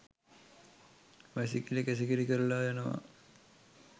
වැසිකිළි කැසිකිළි කරලා යනවා.